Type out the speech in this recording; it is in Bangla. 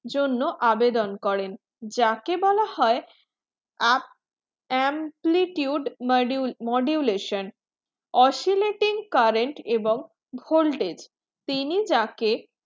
জন্য আবেদন করেন যাকে বলা হয় up amplitude modulation oscillating current এবং voltage তিনি যাকে